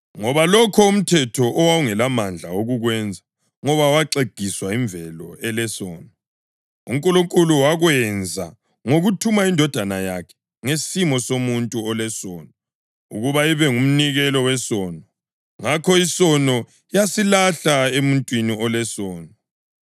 Ngoba lokho umthetho owawungelamandla okukwenza ngoba waxegiswa yimvelo elesono, uNkulunkulu wakwenza ngokuthuma iNdodana yakhe ngesimo somuntu olesono ukuba ibe ngumnikelo wesono. Ngakho isono yasilahla emuntwini olesono,